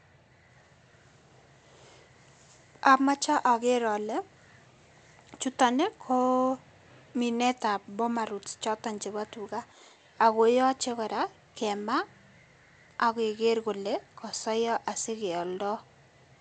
Amoche oker ole chuton ii koo minetab boma rhodes choton chebo tuga. Ago yoche kora kema ak keker kole kosoiyo asikeoldo.